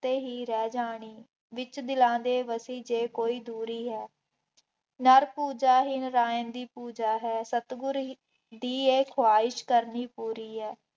ਉੱਥੇ ਹੀ ਰਹਿ ਜਾਣੇ, ਵਿੱਚ ਦਿਲਾਂ ਦੇ ਵਸੀ ਜੇ ਕੋਈ ਦੂਰੀ ਹੈ, ਨਰ ਪੂਜਾ ਹੀ ਨਰਾਇਣ ਦੀ ਪੂਜਾ ਹੈ, ਸਤਿਗੁਰ ਦੀ ਇਹ ਖੁਆਇਸ਼ ਕਰਨੀ ਪੂਰੀ ਹੈ।